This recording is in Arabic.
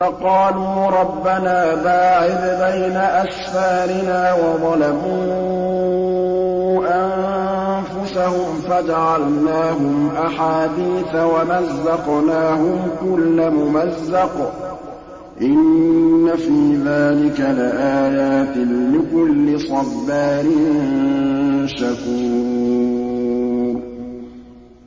فَقَالُوا رَبَّنَا بَاعِدْ بَيْنَ أَسْفَارِنَا وَظَلَمُوا أَنفُسَهُمْ فَجَعَلْنَاهُمْ أَحَادِيثَ وَمَزَّقْنَاهُمْ كُلَّ مُمَزَّقٍ ۚ إِنَّ فِي ذَٰلِكَ لَآيَاتٍ لِّكُلِّ صَبَّارٍ شَكُورٍ